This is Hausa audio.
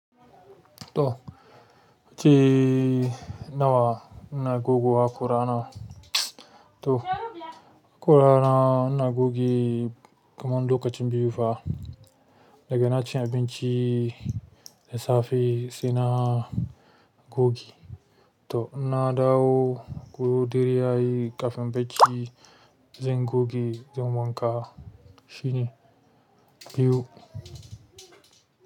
To, ci nawa ina goge hakurana. To kurana ina goge kamar lokacin biyu fa, daga naci abinci, da safe sai na gogi. To inna dawo ko dare yayi ƙafin bacci zan gogi zan wanka. Shine biyu.